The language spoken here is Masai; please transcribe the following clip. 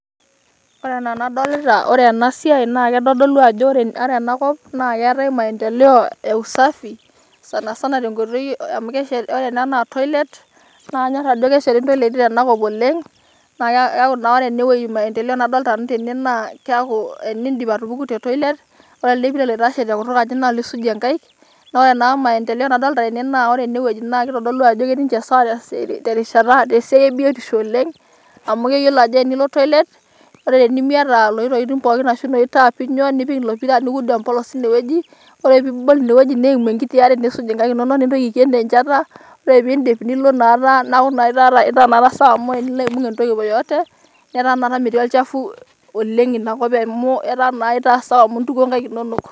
Ore enaa ena dolita naa ore ena siai naa keitodolu ajo ena kop naa keetae maendeleo eusafi sana sana tenkoitoi amu ore naa ena naa Toilet naa kanyorr ajo kesheti intoleiti tenakop oleng' naa keeku naa ore ene wueji maendeleo nadolita Nanu tene naa keeku tenidip atupuku tetoilet ore ele pira oitashe tekutukaji naa olisujie enkaik naa ore naa maendeleo nadoolta tene naa ore ene wueji naa keitodolu ajo ketii ninche sawa te rishata te siai e biotisho oleng' amu keyiolo ajo tenilo Toilet ore tenimiata inoshi tokitin pooki arashu inoshi taapi inyoo, nipik ilo pira niud empolos teine weuji ore pee ebol ine weuji neimu enkiti are niisuj' engae inonok nintoki aiken te nchata ore pee iidip Nilo naa taata , neaku itaa naa taata sawa amu tenilo aibung' entoki yoyote netaa taata metii olchafu oleng' Ina kop amu itaa naa taata sawa amu intukuo inkaik inonok.